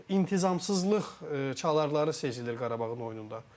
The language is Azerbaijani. İntizamsızlıq çalararı sezilir Qarabağın oyununda.